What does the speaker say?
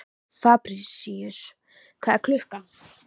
Fabrisíus, hvað er klukkan?